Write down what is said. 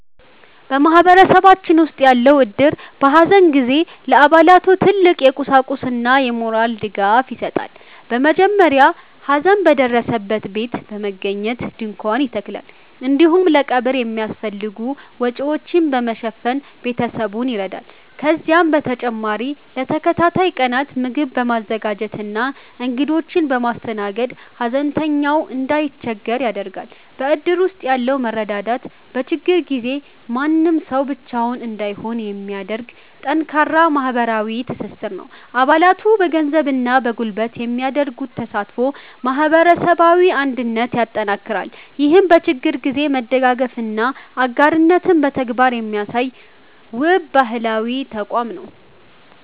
በማህበረሰባችን ውስጥ ያለው እድር፣ በሐዘን ጊዜ ለአባላቱ ትልቅ የቁሳቁስና የሞራል ድጋፍ ይሰጣል። በመጀመሪያ ሐዘን በደረሰበት ቤት በመገኘት ድንኳን ይተከላል፤ እንዲሁም ለቀብሩ የሚያስፈልጉ ወጪዎችን በመሸፈን ቤተሰቡን ይረዳል። ከዚህም በተጨማሪ ለተከታታይ ቀናት ምግብ በማዘጋጀትና እንግዶችን በማስተናገድ፣ ሐዘንተኛው እንዳይቸገር ያደርጋል። በእድር ውስጥ ያለው መረዳዳት፣ በችግር ጊዜ ማንም ሰው ብቻውን እንዳይሆን የሚያደርግ ጠንካራ ማህበራዊ ትስስር ነው። አባላቱ በገንዘብና በጉልበት የሚያደርጉት ተሳትፎ ማህበረሰባዊ አንድነትን ያጠናክራል። ይህም በችግር ጊዜ መደጋገፍንና አጋርነትን በተግባር የሚያሳይ፣ ውብ ባህላዊ ተቋም ነው።